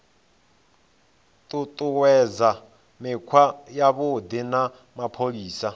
ṱuṱuwedza mikhwa yavhuḓi ya mapholisa